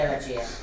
Gələcəyə.